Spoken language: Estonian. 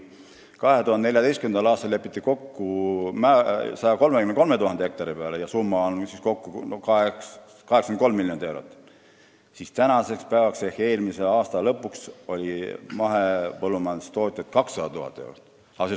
2014. aastal lepiti kokku summas 83 miljonit eurot 133 000 hektari kohta, aga eelmise aasta lõpuks oli mahepõllumajanduse all juba 200 000 hektarit.